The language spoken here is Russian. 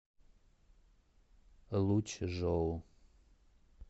лучжоу